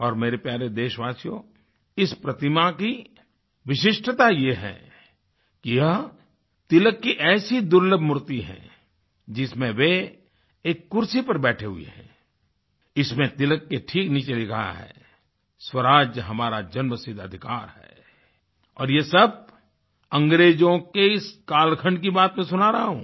और मेरे प्यारे देशवासियो इस प्रतिमा की विशिष्टता यह है कि यह तिलक की ऐसी दुर्लभ मूर्ति है जिसमें वह एक कुर्सी पर बैठे हुए हैं इसमें तिलक के ठीक नीचे लिखा है स्वराज हमारा जन्म सिद्ध अधिकार है और यह सब अंग्रेजों के इस कालखंड की बात तो सुना रहा हूँ